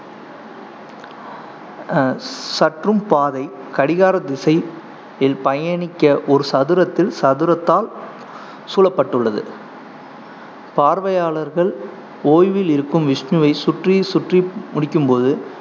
அஹ் சற்றும் பாதை கடிகார திசையில் பயணிக்க ஒரு சதுரத்தில் சதுரத்தால் சூழப்பட்டுள்ளது பார்வையாளர்கள் ஓய்வில் இருக்கும் விஷ்ணுவை சுற்றி சுற்றி முடிக்கும்போது,